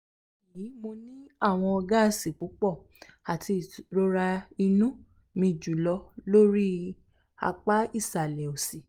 bayii mo ni awọn gaasi pupọ ati irora inu mi julọ lori apa isalẹ osi